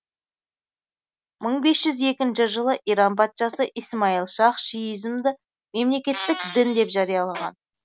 мың бес жүз екінші жылы иран патшасы исмаил шах шиизмді мемлекеттік дін деп жариялаған